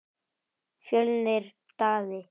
Fjölnir Daði.